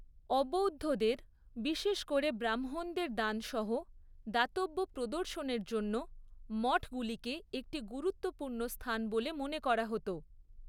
অবৌদ্ধদের, বিশেষ করে ব্রাহ্মণদের দান সহ দাতব্য প্রদর্শনের জন্য মঠগুলিকে একটি গুরুত্বপূর্ণ স্থান বলে মনে করা হত।